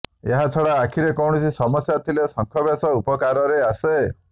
ଏହାଛଡ଼ା ଆଖିରେ କୌଣସି ସମସ୍ୟା ଥିଲେ ଶଙ୍ଖ ବେଶ ଉପକାରରେ ଆସେ